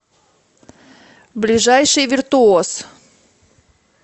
ближайший виртуоз